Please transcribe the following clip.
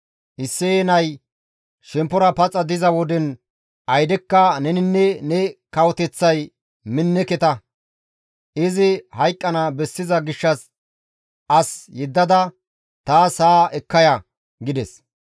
Isseye nay shemppora paxa diza woden aydekka neninne ne kawoteththay minneketa. Izi hayqqana bessiza gishshas as yeddada taas haa ekka ya!» gides.